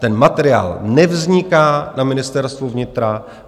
Ten materiál nevzniká na Ministerstvu vnitra.